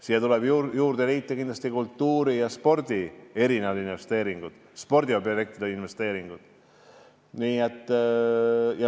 Siia tuleb kindlasti juurde liita kultuuri- ja spordiobjektide investeeringud.